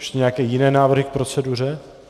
Ještě nějaké jiné návrhy k proceduře?